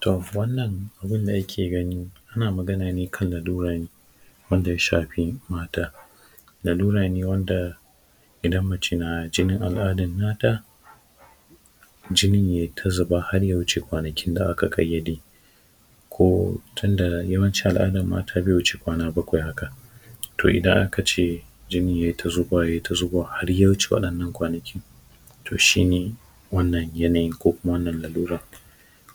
to wannan abinda ka ke gani ana magana ne kan lalura ne wanda ya shafi mata lalura ne wanda idan mace na jinin al’adan na ta jinin yai ta zuba har ya wuce kwanakin da aka ƙayyade ko tunda yawancin al’adan mata bai wuce kwana bakwai haka to idan aka ce jinin yai ta zuba yai ta zuba har ya wuce wa’innan kwanakin to shine wannan yanayin ko kuma wannan laluran